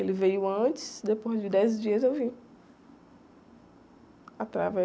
Ele veio antes, depois de dez dias eu vim.